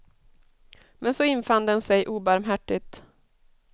Men så infann den sig obarmhärtigt.